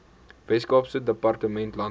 weskaapse departement landbou